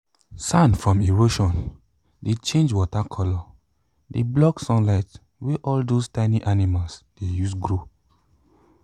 sand from erosion dey change water coloure de block sunlight wey all those tiny animal de use grow